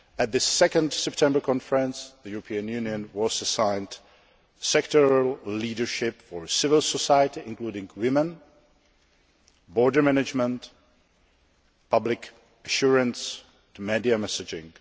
At the 2 September conference, the European Union was assigned sectoral leadership for civil society, including women, border management, and public assurance through media messaging.